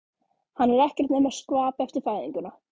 Hann er ekkert nema skvap eftir fæðinguna.